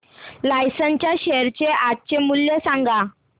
Larsen च्या share चे आजचे मूल्य सांगा